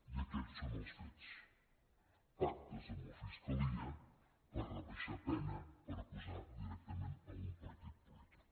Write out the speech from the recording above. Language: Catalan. i aquests són els fets pactes amb la fiscalia per rebaixar pena per acusar directament a un partit polític